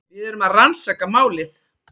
Við erum að rannsaka málið.